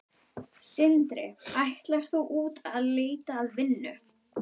Sindri: Ætlar þú út að leita að vinnu?